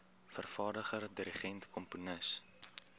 vervaardiger dirigent komponis